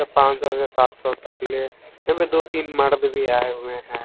ये पान सौ से सात सौ तक ले एमे दो तीन मर्द भी आए हुए हैं।